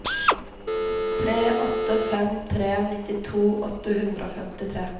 tre åtte fem tre nittito åtte hundre og femtitre